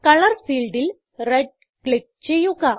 colour ഫീൽഡിൽ red click ചെയ്യുക